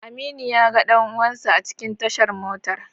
Aminu yaga dan uwansa a cikin tashar motar